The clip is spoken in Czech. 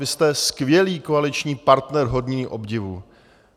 Vy jste skvělý koaliční partner hodný obdivu.